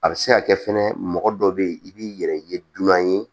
A bɛ se ka kɛ fɛnɛ mɔgɔ dɔ bɛ yen i b'i yɛrɛ ye dunan ye